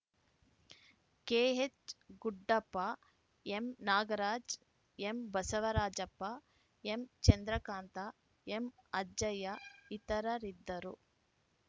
K H Guddappa M Nagaraj M Basavarajappa M Chandrakanta ಎಂಅಜ್ಜಯ್ಯ ಇತರರಿದ್ದರು